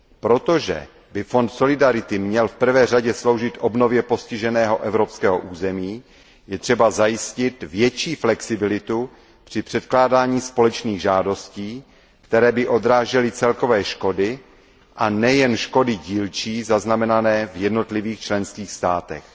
Protože by Fond solidarity měl v prvé řadě sloužit obnově postiženého evropského území, je třeba zajistit větší flexibilitu při předkládání společných žádostí, které by odrážely celkové škody, a nejen škody dílčí zaznamenané v jednotlivých členských státech.